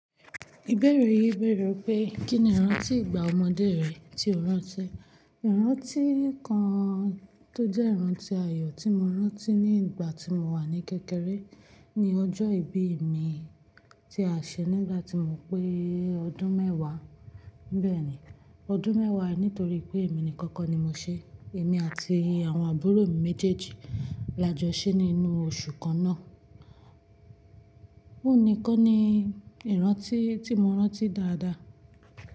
Ìbéèrè yìí bẹ̀rẹ̀ pé kín ni ìrántí ìgbà ọmọdé rẹ tí o rántí? Ìrántí kan tó jẹ́ ìrántí ayọ̀ tí mo rántí ní ìgbà tí mo wà ní kékeré ni ọjọ́ ìbí mi tí a ṣe nígbà tí mo pé ọdún mẹ́wàá. Bẹ́ẹ̀ ni, ọdún mẹ́wàá nítorí pé èmi nìkan kọ́ ni mo ṣe. Èmi àti àwọn àbúrò mi méjèèjì la jọ ṣe nínú oṣù kan náà. Ó nìkan ni ìrántí tí mo rántí dáadáa.